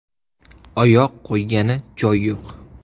Oyoq qo‘ygani joy yo‘q.